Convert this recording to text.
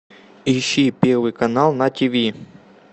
ищи первый канал на тв